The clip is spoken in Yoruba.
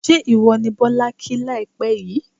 ṣé ìwọ ni Bọ́lá kí láìpẹ́ yìí?